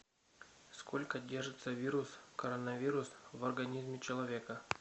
сколько держится вирус коронавирус в организме человека